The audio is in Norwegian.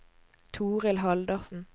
Torhild Haldorsen